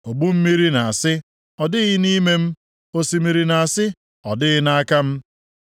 Ogbu mmiri na-asị, “Ọ dịghị nʼime m,” osimiri na-asị, “Ọ dịghị nʼaka m.”